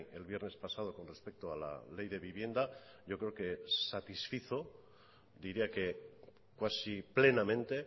el viernes pasado con respecto a la ley de vivienda yo creo que satisfizo diría que cuasi plenamente